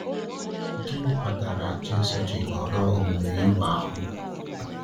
Gịnị kpatara Jésù ji họrọ omume iwe ahụ?